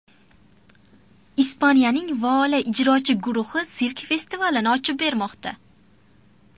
Ispaniyaning Voala ijrochi guruhi sirk festivalini ochib bermoqda.